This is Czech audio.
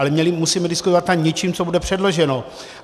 Ale musíme diskutovat nad něčím, co bude předloženo.